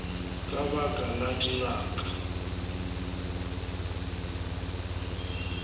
ka ba ka la dingaka